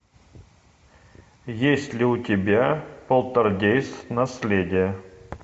есть ли у тебя полтергейст наследие